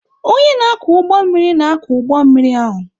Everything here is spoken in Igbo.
Onye na-akwọ ụgbọ mmiri na-akwọ ụgbọ mmiri ahụ.